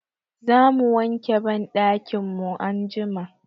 Za mu wanke banɗakin mu anjima.